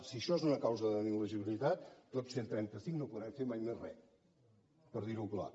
si això és una causa d’il·legibilitat tots cent i trenta cinc no podrem fer mai més re per dir ho clar